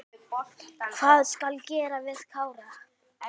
Hvað skal gera við Kára?